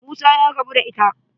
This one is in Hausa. Musa ya rabu da ita.